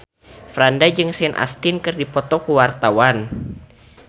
Franda jeung Sean Astin keur dipoto ku wartawan